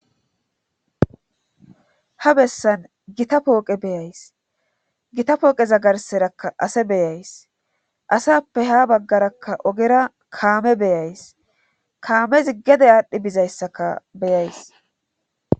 ha bessan gita pooqe beyays gita pooqeza garserakka ase beyays asappe ha baggarakka ogera kaame beyays kaamezi gede aadhdhi bizayssaka beyays